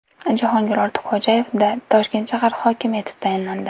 Jahongir Ortiqxo‘jayev Toshkent shahar hokimi etib tayinlandi .